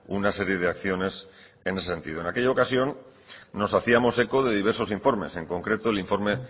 una serie de acciones en ese sentido en aquella ocasión nos hacíamos eco de diversos informes en concreto el informe